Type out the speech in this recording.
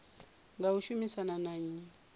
nga u shumisana na nnyi